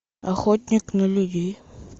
охотник на людей